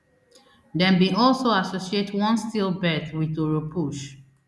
dem bin also associate one stillbirth wit oropouche